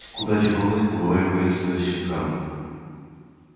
куда девалась былая воинственность щенка